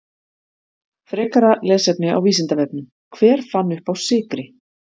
Frekara lesefni á Vísindavefnum: Hver fann uppá sykri?